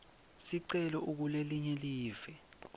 sicelo ukulelinye live